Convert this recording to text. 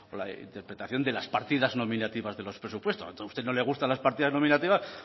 la interpretación de las partidas nominativas de los presupuestos a usted no le gustan las partidas nominativas